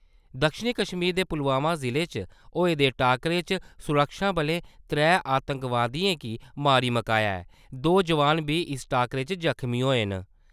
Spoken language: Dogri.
दक्खनी कश्मीर दे पुलवामा जिले च होए दे टाक्करे च सुरक्षाबलें त्रै आतंकवादियें गी मारी मुकाया ऐ। दो जवान बी इस टाकरे च ज़ख्मी होए न ।